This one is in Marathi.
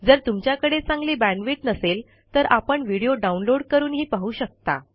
जर तुमच्याकडे चांगली बॅण्डविड्थ नसेल तर आपण व्हिडिओ डाउनलोड करूनही पाहू शकता